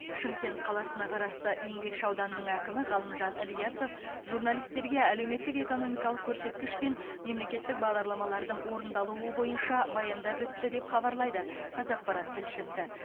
шымкент қаласына қарасты еңбекші ауданының әкімі ғалымжан ильясов журналистерге әлеуметтік экономикалық көрсеткіш пен мемлекеттік бағдарламалардың орындалуы бойынша баяндап өтті деп хабарлайды қазақпарат тілшісі